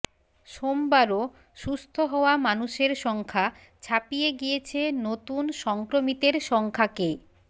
সোমবারও সুস্থ হওয়া মানুষের সংখ্যা ছাপিয়ে গিয়েছে নতুন সংক্রমিতের সংখ্যাকে